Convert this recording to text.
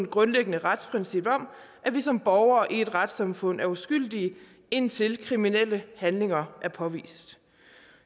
grundlæggende retsprincip at vi som borgere i et retssamfund er uskyldige indtil kriminelle handlinger er påvist